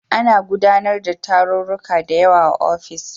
Ana gudanar da tarurruka da yawa a ofis